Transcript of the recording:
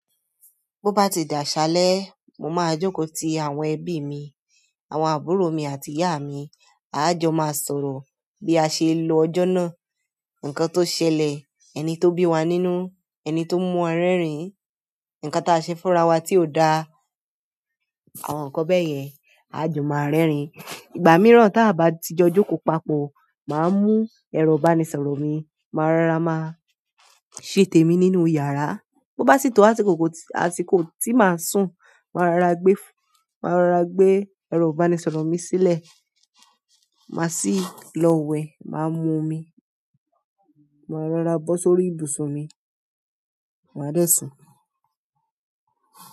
Bó bá ti dà aṣálẹ́, mo máa jókòó ti àwọn ẹbí mi, àwọn àbúrò mi àti ìyá mi. A jọ máa sọ̀rọ̀ bí a ṣe lo ọjọ́ náà, ǹkan tó ṣẹlẹ̀, ẹni tó bí wa nínú, ẹni tó mú ọ rẹ́rìn-ín, ǹkan táa ṣe fúnra wa tí ò da, àwọn nǹkan bẹ́ẹ̀ yẹn. A jọ máa rẹ́rìn-ín. Ìgbà mìíràn tí a bá ti jọ jókòó papọ̀, màá mú ẹro ba ní sọ̀rọ̀ mi, màá rárá máa ṣè tẹ mi nínú yàrá. Bo bá sì tó àsìkò tí màá sùn, màá rorá gbé, màá rorá gbé ẹro ba ní sọ̀rọ̀ mi sílẹ̀. Màá sì lọ wẹ̀, màá mu omi, màá rorá bọ́ sórí ibùsùn mi, màá dẹ́sùn.